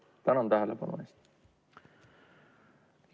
Tänan tähelepanu eest!